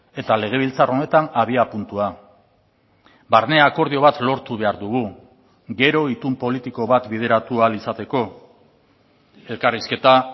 eta legebiltzar honetan abiapuntua barne akordio bat lortu behar dugu gero itun politiko bat bideratu ahal izateko elkarrizketa